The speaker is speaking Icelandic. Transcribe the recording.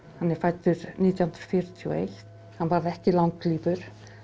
hann er fæddur nítján hundruð fjörutíu og eitt hann varð ekki langlífur